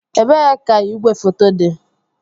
Ebee ka igwefoto dị?